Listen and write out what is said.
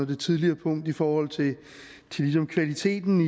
det tidligere punkt i forhold til kvaliteten